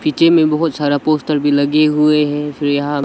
पीछे में बहोत सारा पोस्टर भी लगे हुए है फिर यहां --